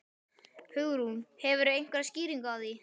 Hugrún: Hefurðu einhverja skýringu á því?